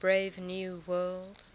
brave new world